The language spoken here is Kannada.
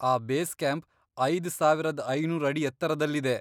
ಆ ಬೇಸ್ ಕ್ಯಾಂಪ್ ಐದ್ ಸಾವರದ್ ಐನೂರ್ ಅಡಿ ಎತ್ತರದಲ್ಲಿದೆ.